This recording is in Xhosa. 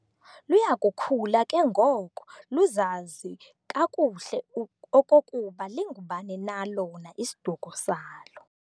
Luyakukhula ke ngoko luzazi kakuhle uk okokuba lingubani na lona isiduko salo.